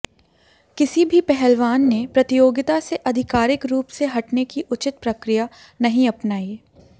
किसी भी पहलवान ने प्रतियोगिता से अधिकारिक रूप से हटने की उचित प्रक्रिया नहीं अपनायी